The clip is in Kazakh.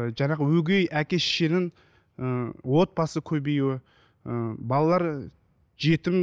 ы жаңағы өгей әке шешенің ыыы отбасы көбеюі ыыы балалар жетім